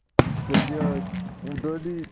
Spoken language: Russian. блядь удали